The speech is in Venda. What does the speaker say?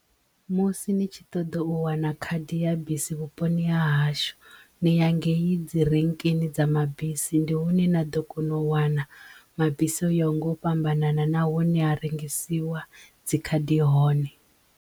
Musi ni tshi ṱoḓa u wana khadi ya bisi vhuponi ha hashu ni ya ngeyi dzi renkeni dza mabisi ndi hune na ḓo kona u wana mabisi u ya nga u fhambanana na hune ha rengisiwa dzi khadi hone.